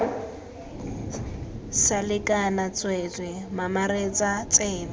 sa lekana tsweetswee mamaretsa tsebe